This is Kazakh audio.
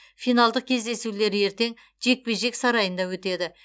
финалдық кездесулер ертең жекпе жек сарайында өтеді